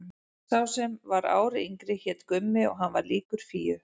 Sá sem var ári yngri hét Gummi og hann var líkur Fíu.